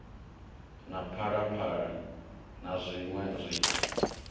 na phalaphala na zwiṋwe zwinzhi